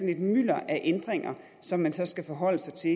et mylder af ændringer som man så skal forholde sig til